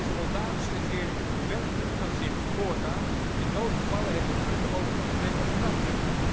Is de Moldavische regering werkelijk van zins voortaan in noodgevallen het vuur te openen op demonstranten?